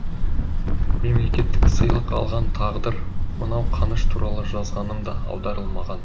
мемлекеттік сыйлық алған тағдыр мынау қаныш туралы жазғаным да аударылмаған